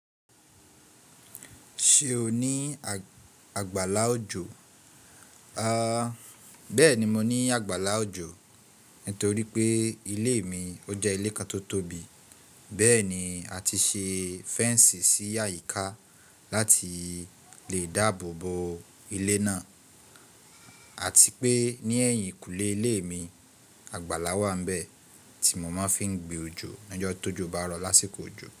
Ṣé o ní àgbàlá òjò? A, bẹ́ẹ̀ni, mo ní àgbàlá òjò. Nítorí pé ilé mi ó jẹ́ ilé kan tó tóbi. Bẹ́ẹ̀ni, a ti ṣe fẹ́ẹnsì sí àyíká láti lè dáàbò bo ilé náà. Àti pé ní ẹ̀yìnkùlé ilé mi, àgbàlá wà níbẹ̀ tí mo máa fi ń gbé òjò lọ́jọ́ tó jo bá rọ lásìkò òjò.